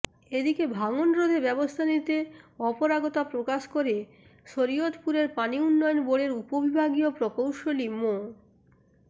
এদিকে ভাঙনরোধে ব্যবস্থা নিতে অপরাগতা প্রকাশ করে শরীয়তপুরের পানি উন্নয়ন বোর্ডের উপবিভাগীয় প্রকৌশলী মো